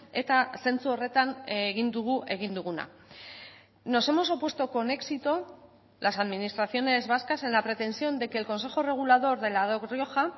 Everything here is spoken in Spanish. eta zentzu horretan egin dugu egin duguna nos hemos opuesto con éxito las administraciones vascas en la pretensión de que el consejo regulador de la rioja